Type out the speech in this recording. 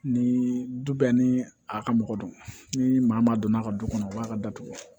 Ni du bɛɛ ni a ka mɔgɔ don ni maa donn'a ka du kɔnɔ a b'a ka datugu